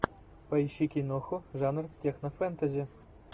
поищи киноху жанр технофэнтези